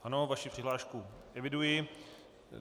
Ano, vaši přihlášku eviduji.